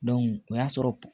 o y'a sɔrɔ